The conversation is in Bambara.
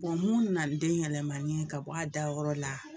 mun na ni den yɛlɛmani ye ka bɔ a da yɔrɔ la,